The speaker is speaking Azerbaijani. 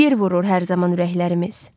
Bir vurur hər zaman ürəklərimiz.